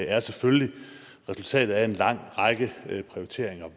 er selvfølgelig resultatet af en lang række prioriteringer